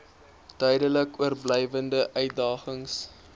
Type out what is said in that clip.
duidelik oorblywende uitdagings